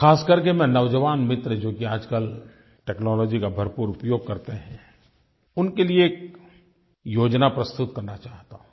खासकर के मैं नौजवान मित्र जो कि आजकल टेक्नोलॉजी का भरपूर उपयोग करते हैं उनके लिये एक योजना प्रस्तुत करना चाहता हूँ